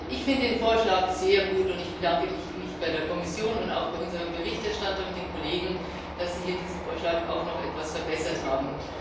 Ich finde den Vorschlag sehr gut, und ich bedanke mich bei der Kommission und auch bei unserem Berichterstatter und den Kollegen, dass sie hier diesen Vorschlag auch noch etwas verbessert haben.